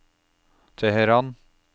Teheran